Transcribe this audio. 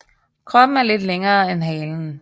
Kroppen er lidt længere end halen